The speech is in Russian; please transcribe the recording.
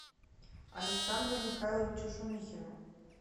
александру михайловичу шумихину